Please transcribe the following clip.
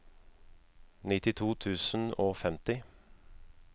nittito tusen og femti